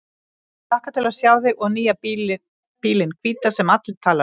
Ég hlakka til að sjá þig og nýja bílinn hvíta sem allir tala um.